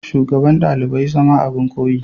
shugaban dalibai zama abin koyi.